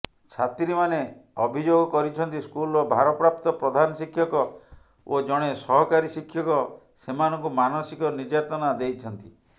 ଛାତ୍ରୀମାନେ ଅଭିଯୋଗ କରିଛନ୍ତି ସ୍କୁଲର ଭାରପ୍ରାପ୍ତ ପ୍ରଧାନଶିକ୍ଷକ ଓ ଜଣେ ସହକାରୀ ଶିକ୍ଷକ ସେମାନଙ୍କୁ ମାନସିକ ନିର୍ଯାତନା ଦେଇଛନ୍ତି